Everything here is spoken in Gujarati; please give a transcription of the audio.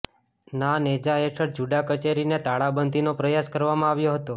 ના નેજા હેઠળ જૂડા કચેરીને તાળાબંધીનો પ્રયાસ કરવામાં આવ્યો હતો